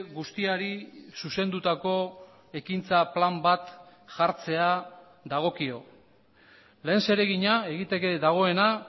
guztiari zuzendutako ekintza plan bat jartzea dagokio lehen zeregina egiteke dagoena